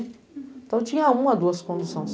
Então, tinha uma, duas condução só.